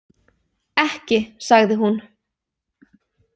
Ekki sagði hún.